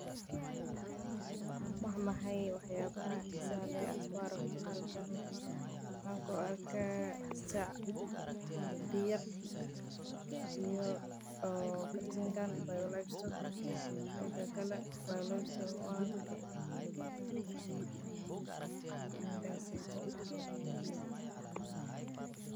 Waa maxay wax yaabaha xiisaha leh oo aad ku aragto halkan waxaan arkaa bac iyo garjin.